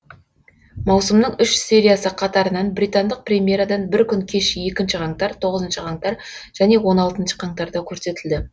маусымның үш сериясы қатарынан британдық премьерадан бір күн кеш екінші қаңтар тоғызыншы қаңтар және он алтыншы қаңтарда көрсетілді